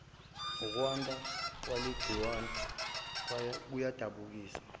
nokwanda kwaleligciwane kuyadabukisa